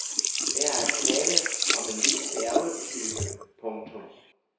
Der er tale om en ny færgetype. punktum